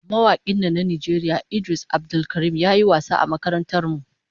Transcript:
Mawakin nan na Najeriya Idris Abdulkarim ya yi wasa a makarantar mu